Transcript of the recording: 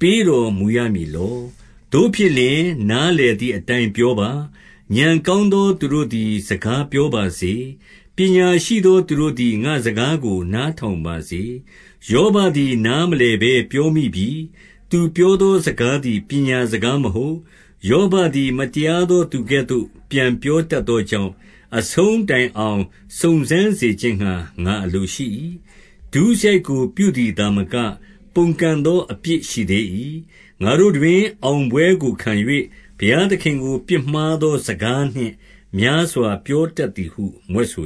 ပေးတော်မူရမည်လော။ သို့ဖြစ်လျှင် နားလည်သည်အတိုင်း ပြောပါ။ ဉာဏ်ကောင်းသော သူတို့သည် စကားပြောပါစေ။ ပညာရှိသော သူတို့သည် ငါ့စကားကို နားထောင်ပါစေ။ ယောဘသည် နားမလည်ဘဲ ပြောမိပြီ။ သူပြောသောစကားသည် ပညာစကားမဟုတ်။ ယောဘသည် မတရားသောသူကဲ့သို့ ပြန်ပြောတတ်သောကြောင့်၊ အဆုံးတိုင်အောင် စုံစမ်းစေခြင်းငှာ ငါအလိုရှိ၏။ ဒုစရိုက်ကို ပြုသည်သာမက၊ ပုန်ကန်သော အပြစ်ရှိသေး၏။ ငါတို့တွင် အောင်ပွဲကိုခံ၍၊ ဘုရားသခင်ကို ပြစ်မှားသောစကားနှင့် များစွာပြောတတ်သည်ဟု မြွက်ဆို